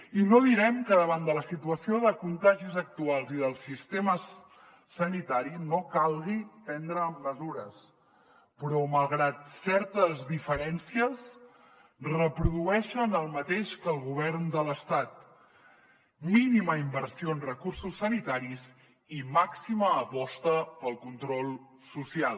i no direm que davant de la situació de contagis actuals i del sistema sanitari no calgui prendre mesures però malgrat certes diferències reprodueixen el mateix que el govern de l’estat mínima inversió en recursos sanitaris i màxima aposta pel control social